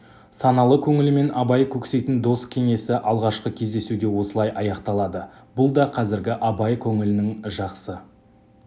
саналы көңілімен абай көксейтін дос кеңесі алғашқы кездесуде осылай аяқталды бұл да қазіргі абай көңілінің жақсы